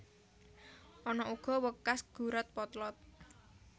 Ana uga wekas gurat potlot